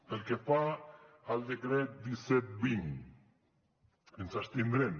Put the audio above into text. pel que fa al decret disset vint ens abstindrem